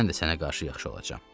mən də sənə qarşı yaxşı olacam.